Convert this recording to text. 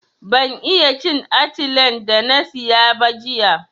Ban iya cin atilen da na siya ba jiya.